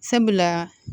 Sabula